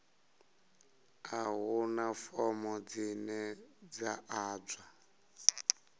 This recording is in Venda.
a huna fomo dzine dza ḓadzwa